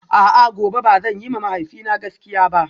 A'a gobe ba zan yiwa mahaifina gaskiya ba?